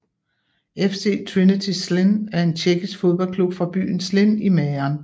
FC Trinity Zlín er en tjekkisk fodboldklub fra byen Zlín i Mähren